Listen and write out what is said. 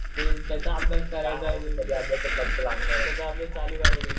ते ज्याचा अभ्यास करायचा आहे